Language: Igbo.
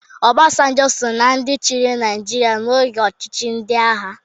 Obasanjo so na ndị chịrị Naịjirịa n'oge ọchịchị ndị agha.